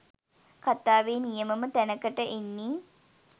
කතාවේ නියමම තැනකට එන්නේ